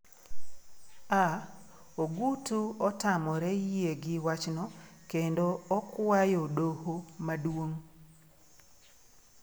(A) Ogutu otamore yie gi wachno kendo okwayodoho Maduong'.